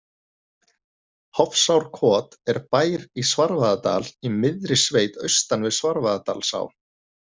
Hofsárkot er bær í Svarfaðardal, í miðri sveit austan við Svarfaðardalsá.